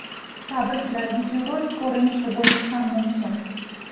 Tabriklar videorolik ko‘rinishida bo‘lishi ham mumkin.